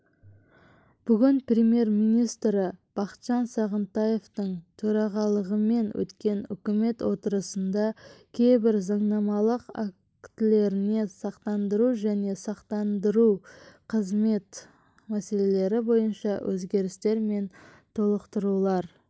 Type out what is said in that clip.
бүгін премьер-министрі бақытжан сағынтаевтың төрағалығымен өткен үкімет отырысында кейбір заңнамалық актілеріне сақтандыру және сақтандыру қызметі мәселелері бойынша өзгерістер мен толықтырулар